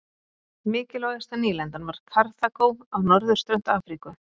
Mikilvægasta nýlendan var Karþagó á norðurströnd Afríku.